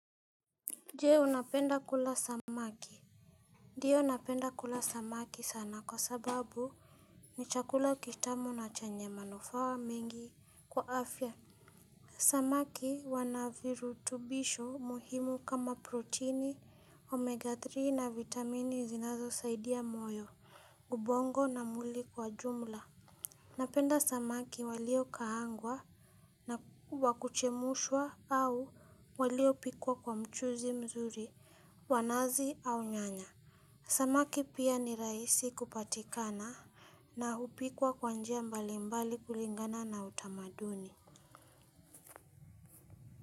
Je unapenda kula samaki. Ndiyo napenda kula samaki sana kwa sababu ni chakula kitamu na chenye manufaa mengi kwa afya. Samaki wana virutubisho muhimu kama proteini, omega tatu na vitamini zinazosaidia moyo, ubongo na mwili kwa jumla. Napenda samaki waliokaangwa na wa kuchemshwa au waliopikwa kwa mchuzi mzuri. Wanazi au nyanya. Samaki pia ni rahisi kupatikana. Na hupikwa kwa njia mbalimbali kulingana na utamaduni.